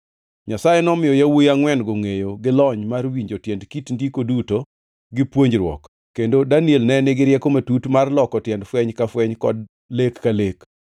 Nyasaye nomiyo yawuowi angʼwen-go, ngʼeyo gi lony mar winjo tiend kit ndiko duto gi puonjruok. Kendo Daniel ne nigi rieko matut mar loko tiend fweny ka fweny kod lek ka lek.